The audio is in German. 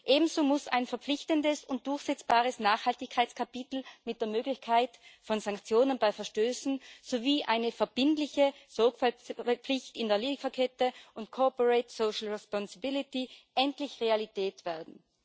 Ebenso müssen ein verpflichtendes und durchsetzbares Nachhaltigkeitskapitel mit der Möglichkeit von Sanktionen bei Verstößen sowie eine verbindliche Sorgfaltspflicht in der Lieferkette und Corporate Social Responsibility endlich Realität werden.